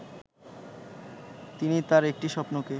তিনি তার একটি স্বপ্নকে